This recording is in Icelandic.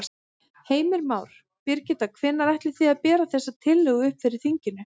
Heimir Már: Birgitta, hvenær ætlið þið að bera þessa tillögu upp fyrir þinginu?